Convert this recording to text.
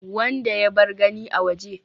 wanda ya bar gani a waje